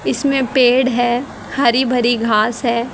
इसमें पेड़ है हरि भरी घास है।